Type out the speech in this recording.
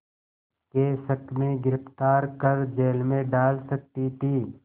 के शक में गिरफ़्तार कर जेल में डाल सकती थी